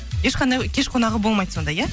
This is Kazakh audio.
ешқандай кеш қонағы болмайды сонда иә